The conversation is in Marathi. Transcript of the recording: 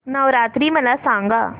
नवरात्री मला सांगा